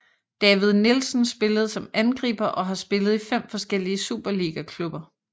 David Nielsen spillede som angriber og har spillet i fem forskellige superligaklubber